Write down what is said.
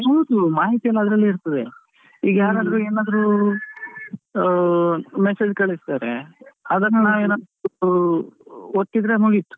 ಹೌದು ಮಾಹಿತಿ ಎಲ್ಲಾ ಅದರಲ್ಲೆ ಇರ್ತದೆ. ಈಗ ಯಾರಾದ್ರೂ ಏನಾದ್ರೂ ಅ message ಕಳಿಸ್ತಾರೆ ಅದನ್ನ ಏನಾದ್ರೂ ಒತ್ತಿದ್ರೆ ಮುಗಿತು.